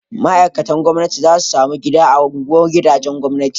Ma'aikatan gwamnati za su samu gida a unguwar gidajen gwamnati